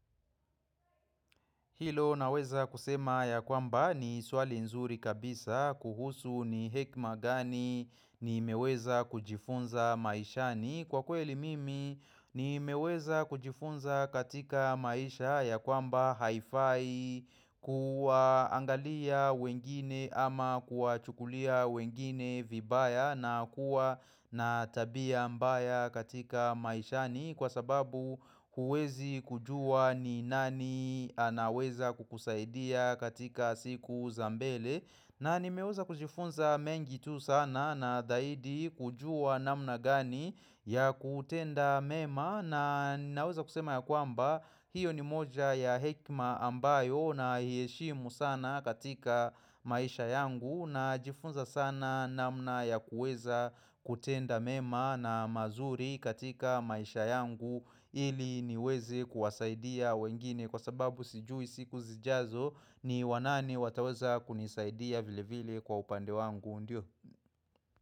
Hilo naweza kusema ya kwamba ni swali nzuri kabisa kuhusu ni hekima gani nimeweza kujifunza maishani. Kwa kweli mimi nimeweza kujifunza katika maisha ya kwamba haifai kuwaangalia wengine ama kuwachukulia wengine vibaya na kuwa na tabia mbaya katika maishani kwa sababu huwezi kujua ni nani anaweza kukusaidia katika siku za mbele na nimeweza kujifunza mengi tu sana na zaidi kujua namna gani ya kutenda mema na ninaweza kusema ya kwamba hiyo ni moja ya hekima ambayo naiheshimu sana katika maisha yangu najifunza sana namna ya kuweza kutenda mema na mazuri katika maisha yangu ili niweze kuwasaidia wengine kwa sababu sijui siku zijazo ni wanani wataweza kunisaidia vile vile kwa upande wangu ndio.